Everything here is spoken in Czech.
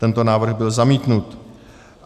Tento návrh byl zamítnut.